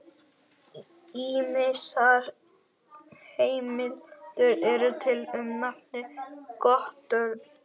Ýmsar heimildir eru til um nafnið Guttorm.